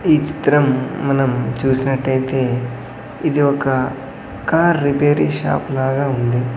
ఈ చిత్రం మనం చూసినట్టైతే ఇది ఒక కార్ రిపేరీ షాప్ లాగా ఉంది.